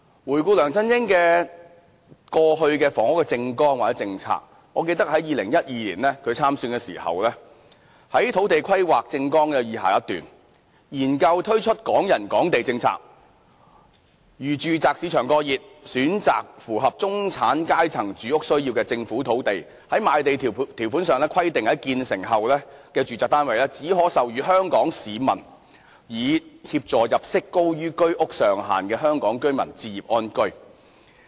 回顧梁振英過去的房屋政綱或政策，我記得他在2012年參選時，政綱中就土地規劃有這樣一段："研究推出'港人港地'政策，如住宅市場過熱，選擇符合中產階層住屋需要的政府土地，在賣地條款中規定在建成後的住宅單位，只可出售予香港居民，以協助入息高於居屋上限的香港居民置業安居。